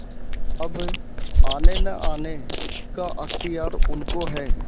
अब आनेनआने का अख्तियार उनको है